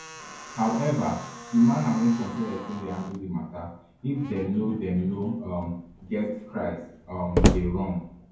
however di manner wey some parents take dey handle di mata if dem no dem no um get christ um dey wrong